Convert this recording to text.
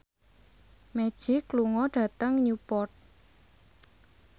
Magic lunga dhateng Newport